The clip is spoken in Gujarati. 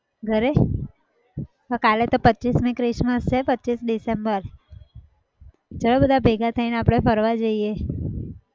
ઘરે કાલે તો પચ્ચીસમી christmas છે. પચ્ચીસ december ચાલો બધા ભેગા થઈને આપણે ફરવા જઈએ.